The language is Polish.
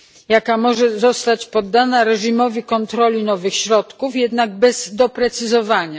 jaka może zostać poddana reżimowi kontroli nowych środków, jednak bez doprecyzowania.